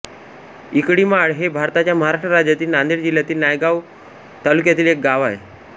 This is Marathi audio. इकळीमाळ हे भारताच्या महाराष्ट्र राज्यातील नांदेड जिल्ह्यातील नायगाव तालुक्यातील एक गाव आहे